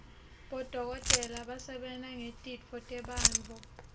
bodokotela basebenta ngetitfo tebantfu